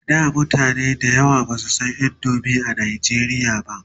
a da mutane da yawa Basu San indomie a nigeria ba